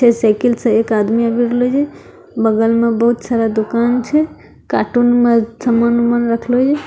साइकिल से एक आदमी बगल मा बहुत सारा दुकान छै कार्टून में सामान-उमान रखलो --